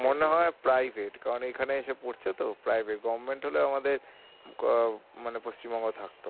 মনে হয় কারণ এখানে এসে পরছে তো হলে আমাদের মানে পশ্চিমবঙ্গে থাকতো